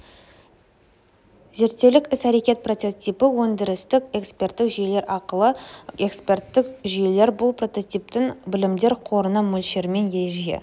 зерттеулік іс-әрәкетті прототипі өндірістік эксперттік жүйелер ақылы эксперттік жүйелер бұл прототиптің білімдер қорында мөлшерімен ереже